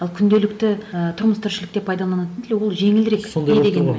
ал күнделікті ы тұрмыс тіршілікте пайдаланатын тіл ол жеңілдірек не дегенмен